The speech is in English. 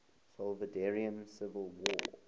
salvadoran civil war